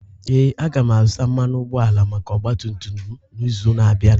Ee, aga m azụta mmanụ ụgbọala maka ọgba tum tum m n'izu na-abịa.